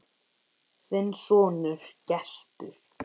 Þinn sonur, Gestur.